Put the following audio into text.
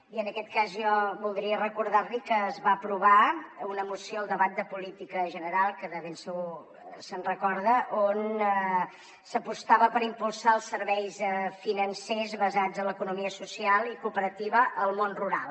i en aquest cas jo voldria recordar li que es va aprovar una moció al debat de política general que de ben segur se’n recorda on s’apostava per impulsar els serveis financers basats en l’economia social i cooperativa al món rural